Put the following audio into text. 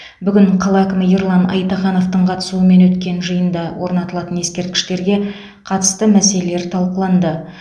бүгін қала әкімі ерлан айтахановтың қатысуымен өткен жиында орнатылатын ескерткіштерге қатысты мәселелер талқыланды